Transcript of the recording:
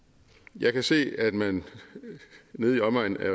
jeg kan se at man nede i omegnen af